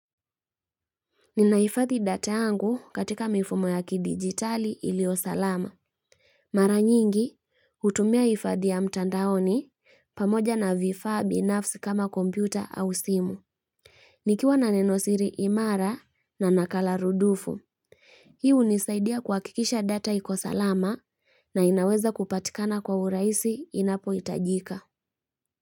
Ninaifadhi data yangu katika mifumo ya kidigitali ilio salama. Mara nyingi, utumia ifadhi ya mtandaoni pamoja na vifaa bi nafsi kama kompyuta au simu. Nikiwa na nenosiri imara na nakala rudufu. Hii u nisaidia kua kikisha data ikosalama na inaweza kupatikana kwa uraisi inapo itajika.